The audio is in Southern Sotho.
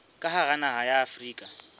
ka hara naha ya afrika